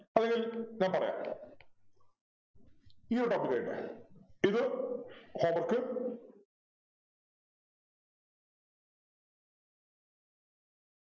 അല്ലെങ്കിൽ ഞാൻ പറയാം ഈയൊരു topic ഇത് home work